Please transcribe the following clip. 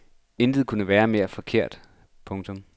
Intet kunne være mere forkert. punktum